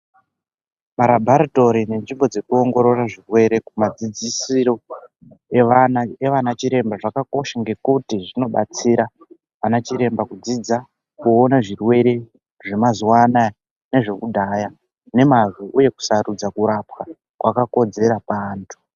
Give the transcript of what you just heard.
Marabharitori nenzvimbo dzekuongorora zvirwere kumadzidzisiro evana evana chiremba zvakakosha. Ngekuti zvinobatsira anachiremba kudzidza kuona zvirwere zvemazuwa anaya nezvekudhaya nemazvo. Uye kusarudza kurapwa kwakakodzera kuantu.